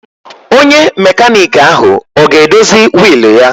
Onye mekaniki ahụ ọ ga-edozi wiil ya?